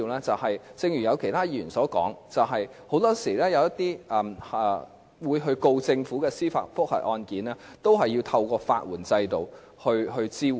正如其他議員所說，很多時候，一些控告政府的司法覆核案件都是要透過法援制度來獲得支援。